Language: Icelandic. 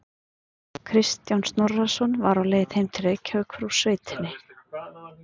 Kristján Snorrason var á leið heim til Reykjavíkur úr sveitinni.